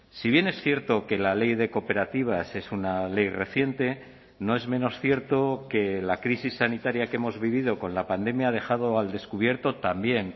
si bien es cierto que la ley de cooperativas es una ley reciente no es menos cierto que la crisis sanitaria que hemos vivido con la pandemia ha dejado al descubierto también